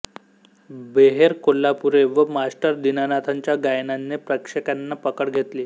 बेहेरे कोल्हापुरे व मास्टर दीनानाथांच्या गायनाने प्रेक्षकांची पकड घेतली